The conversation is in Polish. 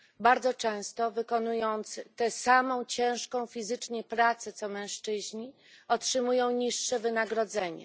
Bardzo często wykonując tę samą ciężką fizycznie pracę co mężczyźni, otrzymują niższe wynagrodzenie.